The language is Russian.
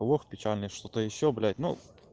лох печальный что-то ещё блять ну